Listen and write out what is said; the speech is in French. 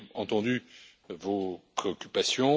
J'ai entendu vos préoccupations.